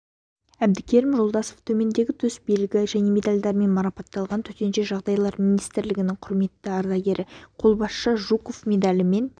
әбдікерім жолдасов төмендегі төс белгі және медальдармен марапатталған төтенше жағдайлар министірлігінің құрметті ардагері қолбасшы жуков медалімен